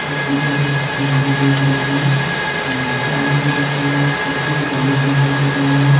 की बहुत हरे हरे दिख रहे है और टमाटर आलू भी रखा गया है पीछे मे जाली दिखाई दे रहे हैं।